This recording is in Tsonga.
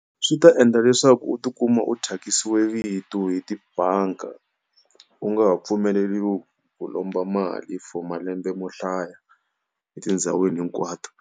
Swi ta endla leswaku u ti kuma u thyakisiwe vito hi tibanga, u nga ha pfumeleriwi ku lomba mali for malembe mo hlaya etindhawini hinkwato.